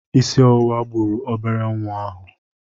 Isi ọwụwa gburu obere nwa ahụ.